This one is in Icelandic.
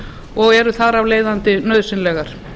og eru þar af leiðandi nauðsynlegar